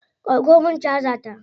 Dauko min caja ta.